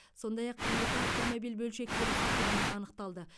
сондай ақ екі автомобиль бөлшектеліп сатылғаны анықталды